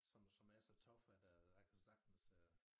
Som som er så tough at øh jeg kan sagtens øh